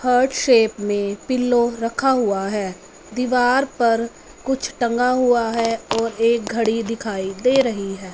Hurt shape में पिल्लों रखा हुआ है दीवार पर कुछ टंगा हुआ है और एक घड़ी दिखाई दे रही है।